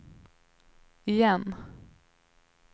igen